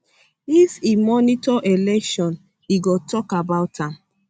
if e monitor election um e go tok about am